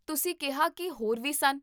ਤੁਸੀਂ ਕਿਹਾ ਕੀ ਹੋਰ ਵੀ ਸਨ?